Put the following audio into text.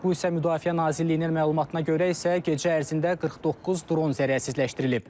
Rusiya Müdafiə Nazirliyinin məlumatına görə isə gecə ərzində 49 dron zərərsizləşdirilib.